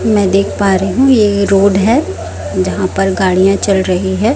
मैं देख पा रही हूं ये रोड है जहां पर गाड़ियां चल रही है।